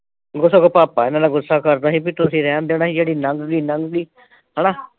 ਉਹਦਾ ਸਗੋਂ ਭਾਪਾ ਮੇਰੇ ਨਾਲ ਗੁੱਸਾ ਕਰਦਾ ਸੀ ਬਈ ਤੁਸੀਂ ਰਹਿਣ ਦਿਓ ਨਾ ਜਿਹੜੀ ਲੰਘ ਗਈ ਲੰਘ ਗਈ ਹਨਾ।